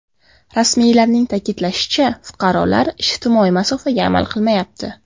Rasmiylarning ta’kidlashicha, fuqarolar ijtimoiy masofaga amal qilmayapti.